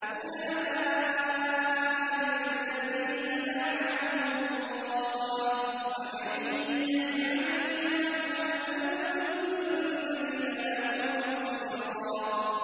أُولَٰئِكَ الَّذِينَ لَعَنَهُمُ اللَّهُ ۖ وَمَن يَلْعَنِ اللَّهُ فَلَن تَجِدَ لَهُ نَصِيرًا